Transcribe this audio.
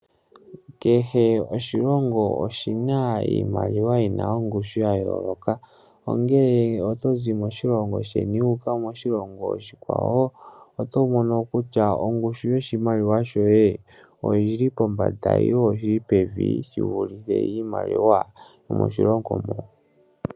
Kehe oshilongo oshina iimaliwa yina ongushu yayooloka , ongele otozi moshilongo sheni wuuka moshilongo oshikwawo oto mono kutya ongushu yoshimaliwa shoye oyili pombanda nenge pevi shivulithe iimaliwa yomoshilongo mo.